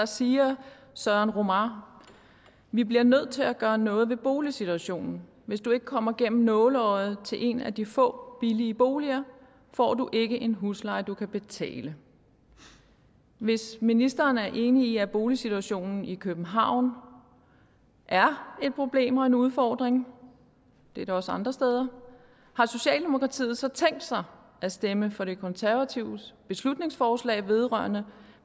siger søren romar vi bliver nødt til at gøre noget ved boligsituationen hvis du ikke kommer igennem nåleøjet til en af de få billige boliger får du ikke en husleje du kan betale hvis ministeren er enig i at boligsituationen i københavn er et problem og en udfordring det er den også andre steder har socialdemokratiet så tænkt sig at stemme for de konservatives beslutningsforslag vedrørende